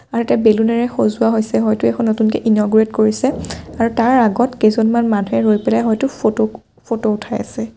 আৰু ইয়াত বেলুনে ৰে সজোৱা হৈছে হয়তো এইখন নতুনকৈ ইনৰগ'ৰেট কৰিছে আৰু তাৰ আগত কেইজনমান মানুহে ৰৈ পেলাই হয়তো ফটো উঠাই আছে।